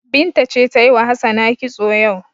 Binta ce ta yi wa Hassana kitso yau.